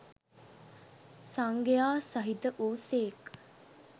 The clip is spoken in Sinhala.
සංඝයා සහිත වු සේක්